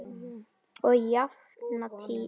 Og jafnan lítið.